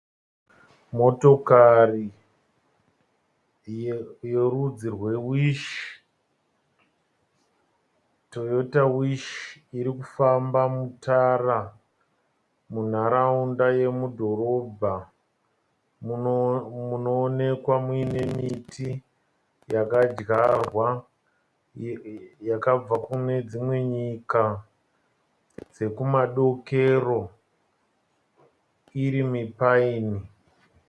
Motokari yerudzi rwe Wish, Toyota Wish irikufamba mutara munharaunda yemudhorobha. Munoonekwa muine miti yakadyarwa yakabva kune dzimwe nyika dzekumadokero iri mi paini.